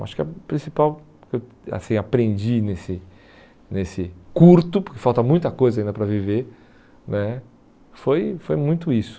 eu Acho que a o principal que eu assim aprendi nesse nesse curto, porque falta muita coisa ainda para viver né, foi foi muito isso.